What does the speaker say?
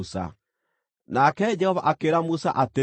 Nake Jehova akĩĩra Musa atĩrĩ,